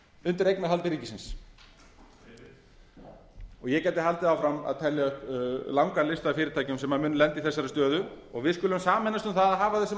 undir eignarhaldi ríkisins og ég gæti haldið áfram að telja upp langan lista af fyrirtækjum sem munu lenda í þessari stöðu en við skulum sameinast um það að hafa þau sem